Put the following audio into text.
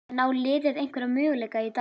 En á liðið einhverja möguleika í dag?